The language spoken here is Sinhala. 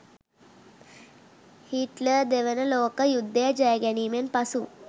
හිට්ලර් දෙවන ලෝක යුද්ධය ජය ගැනීමෙන් පසු